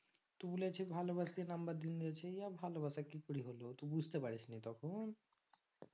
তু বলেছিস ভালোবাসি number দিনদিয়েছিস এই ভালোবাসা কি করে হলো বুঝতে পারিস নি তখন